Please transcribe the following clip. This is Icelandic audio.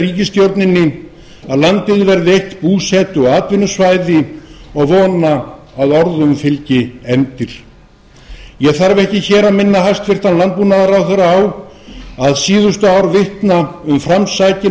ríkisstjórninni að landið verði eitt búsetu og atvinnusvæði og vona að orðum fylgi efndir ég þarf ekki hér að minna hæstvirtur landbúnaðarráðherra á að síðustu ár vitna um framsækin